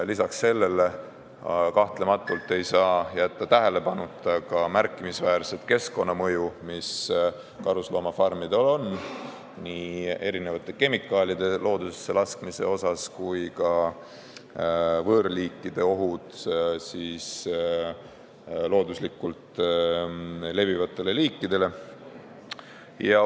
Peale selle ei saa kahtlemata jätta tähelepanuta märkimisväärset keskkonnamõju, mis karusloomafarmidel on kemikaalide loodusesse laskmise tõttu, samuti võõrliikide ohtu looduslikult levivatele liikidele.